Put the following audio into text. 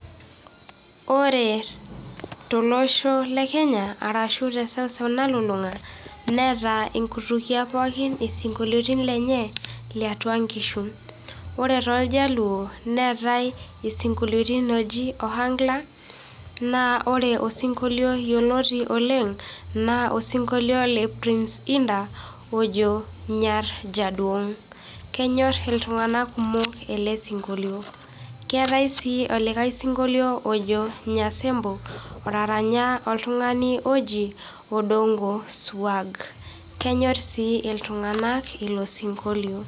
Ore tolosho le kenya arashu teseuseu nalulung'a, neata inkutukie ppokin isinkolioitin lenye liatua inkishu. Ore tooljaluo neetai isinkolioitin looji Ohangla, naa iyiolo osinkolio yioloti oleng naa osinkolio le prince inda ojo nyar jaduong kenyor iltung'anak kumok ele sinkolio. Keetai sii olikae sinkolio ojo nyasembo otaranya, oltung'ani oji Odongo Swag. Kenyorr sii iltung'anak ilo sinkolio